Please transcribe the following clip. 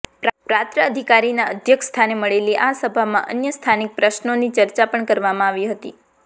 પ્રાંત અધિકારીના અધ્યક્ષસ્થાને મળેલી આ સભામાં અન્ય સ્થાનિક પ્રશ્નોની ચર્ચા પણ કરવામાં આવી હતી